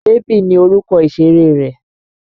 Bèbí ni orúkọ ìṣéré rẹ́.